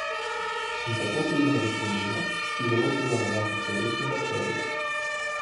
In tako pridemo do problema, ki zelo vpliva na naše črevesne bakterije.